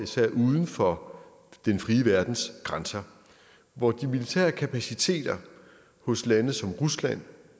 uden for den frie verdens grænser og hvor de militære kapaciteter hos lande som rusland